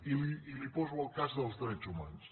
i li poso el cas dels drets humans